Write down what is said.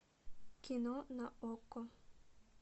кино на окко